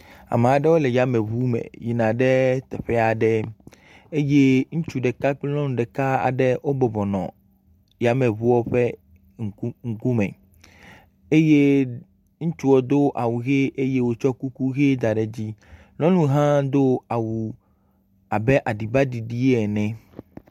Ame aɖewo le yameŋu me yina ɖe teƒe aɖe, eye ŋutsu ɖeka kple nyɔnu ɖeka aɖe wo bɔbɔnɔ yameŋua ƒe ŋgɔ me, eye ŋutsu do awuʋi eye wòtsɔ kuku ʋe da ɖe dzi nyɔnu hã do awu abe aɖibaɖiɖi ene